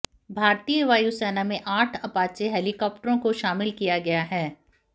भारतीय वायुसेना में आठ अपाचे हेलिकॉप्टरों को शामिल किया गया है